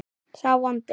sá vondi